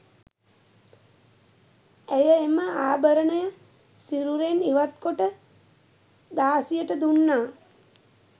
ඇය එම ආභරණය සිරුරෙන් ඉවත් කොට දාසියට දුන්නා.